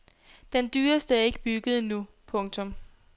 Den dyreste er ikke bygget endnu. punktum